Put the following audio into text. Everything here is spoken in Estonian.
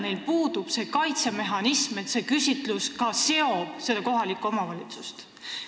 Neil puudub kaitsemehhanism, mis peaks tagama, et rahvaküsitlus seob kohalikku omavalitsust.